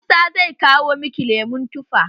Musa zai kawo miki lemon tufa.